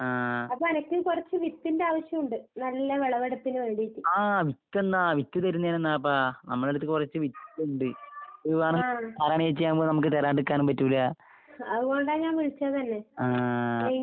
ആഹ്. ആഹ് വിത്തെന്നാ വിത്ത് തരുന്നേനെന്നാപ്പാ, നമ്മടെടുത്ത് കൊറച്ച് വിത്ത്ണ്ട്. ഇത് വേണെങ്കി നാരായണിയേച്ചിയാവുമ്പ നമുക്ക് തരാണ്ടിക്കാനും പറ്റൂല്ല. ആഹ്.